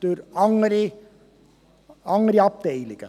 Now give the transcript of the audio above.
Gemäss Artikel 12a und Artikel 57